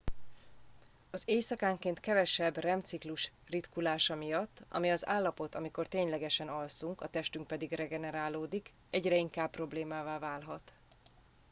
az éjszakánként kevesebb rem ciklus ritkulása miatt ami az állapot amikor ténylegesen alszunk a testünk pedig regenerálódik egyre inkább problémává válhat